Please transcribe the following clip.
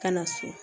Ka na so